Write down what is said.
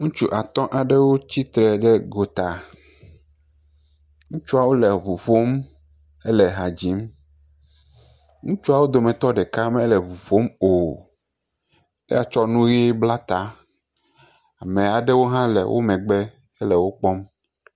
Ŋutsu atɔ̃ aɖewo tsi tre ɖe gota. Ŋutsuawo le ŋu ƒom hele ha dzim. Ŋutsuawo dometɔ ɖeka mele ŋu ƒom o. Eya tsɔ nu ʋe bla ta. Ame aɖewo hã le wo megbe hele wo kpɔm.